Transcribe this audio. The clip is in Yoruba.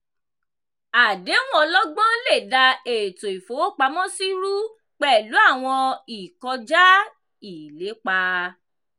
àdéhùn ọlọ́gbọ́n lè da ètò ìfowópamọ́sí rú pẹ̀lú àwọn ìkọjá-ìlépa.